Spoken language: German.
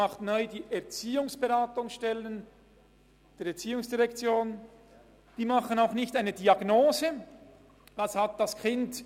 Die Erziehungsberatungsstellen stellen auch nicht einfach eine Diagnose – «Was hat das Kind?